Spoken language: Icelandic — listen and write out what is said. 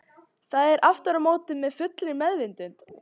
Það er aftur á móti með fullri meðvitund.